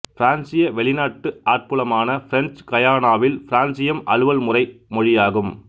பிரான்சிய வெளிநாட்டு ஆட்புலமான பிரெஞ்சு கயானாவில் பிரான்சியம் அலுவல்முறை மொழியாகும்